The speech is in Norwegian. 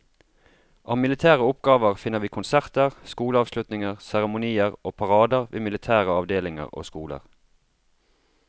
Av militære oppgaver finner vi konserter, skoleavslutninger, seremonier og parader ved militære avdelinger og skoler.